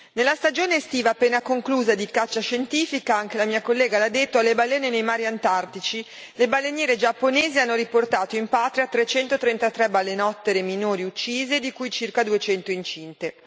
Nella stagione estiva appena conclusa di caccia scientifica anche la mia collega l'ha detto alle balene nei mari antartici, le baleniere giapponesi hanno riportato in patria 333 balenottere minori uccise, di cui circa 200 incinte.